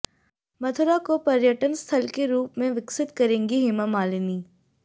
मथुरा को पर्यटन स्थल के रूप में विकसित करेंगी हेमा मालिनी